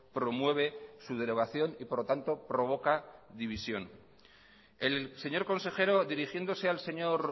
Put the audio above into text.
promueve su derogación y por lo tanto provoca división el señor consejero dirigiéndose al señor